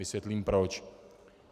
Vysvětlím proč.